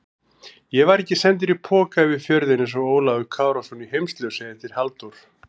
Ég var ekki sendur í poka yfir fjörðinn einsog Ólafur Kárason í Heimsljósi eftir Halldór